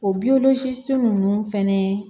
O ninnu fɛnɛ